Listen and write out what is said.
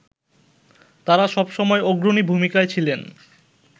তারা সবসময় অগ্রণী ভূমিকায় ছিলেন